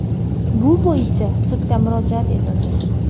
Bu bo‘yicha sudga murojaat etildi.